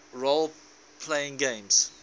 role playing games